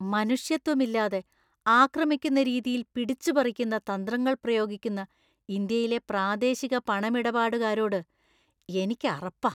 മനുഷ്യത്വമില്ലാതെ ആക്രമിക്കുന്ന രീതിയിൽ പിടിച്ച് പറിക്കുന്ന തന്ത്രങ്ങൾ പ്രയോഗിക്കുന്ന ഇന്ത്യയിലെ പ്രാദേശിക പണമിടപാടുകാരോട് എനിക്ക് അറപ്പാ.